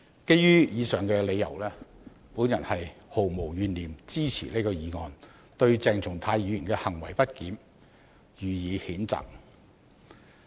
基於上述理由，我毫無懸念支持這項議案，對鄭松泰議員的行為不檢予以譴責。